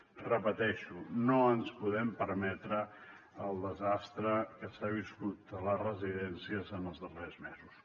ho repeteixo no ens podem permetre el desastre que s’ha viscut a les residències en els darrers mesos